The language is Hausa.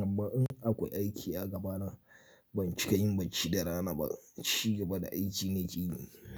Amma in akwai aiki a gabana ban cika yin bacci da rana ba. Chi gaba da aiki nake yi.